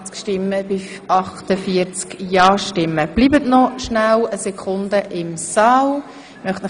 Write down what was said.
Damit schliesse ich den heutigen Sitzungsnachmittag und wünsche Ihnen noch einen schönen Abend, auf Wiedersehen.